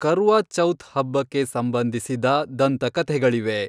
ಕರ್ವಾ ಚೌಥ್ ಹಬ್ಬಕ್ಕೆ ಸಂಬಂಧಿಸಿದ ದಂತಕಥೆಗಳಿವೆ.